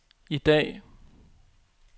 i dag